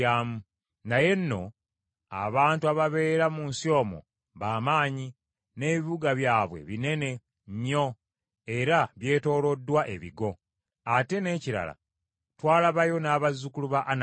Naye nno abantu ababeera mu nsi omwo ba maanyi, n’ebibuga byabwe binene nnyo era byetooloddwako ebigo. Ate n’ekirala twalabaayo n’abazzukulu ba Anaki.